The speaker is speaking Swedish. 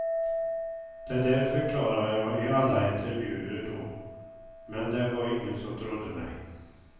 Det där förklarade jag i alla intervjuer då, men det var ingen som trodde mig.